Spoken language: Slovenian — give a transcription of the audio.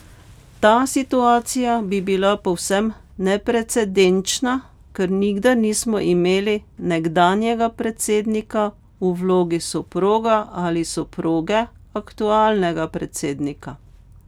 Ta situacija bi bila povsem neprecedenčna, ker nikdar nismo imeli nekdanjega predsednika v vlogi soproga ali soproge aktualnega predsednika.